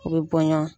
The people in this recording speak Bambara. U bɛ bɔ ɲɔn